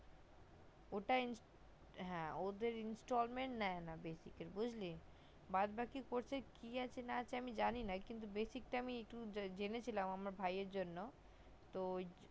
ওটা ওদের installment নেই না basic এ বুজলি বাদবাকি course কি আছে না আছে আমি জানি না কিন্তু basic টা আমি জেনেছিলাম আমার ভাইয়ের জন্য তো